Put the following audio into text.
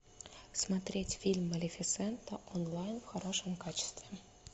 смотреть фильм малефисента онлайн в хорошем качестве